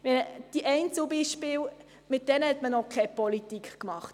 Mit diesen Einzelbeispielen hat man noch keine Politik gemacht.